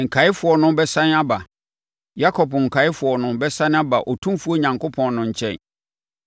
Nkaeɛfoɔ no bɛsane aba. Yakob nkaeɛfoɔ no bɛsane aba Otumfoɔ Onyankopɔn no nkyɛn.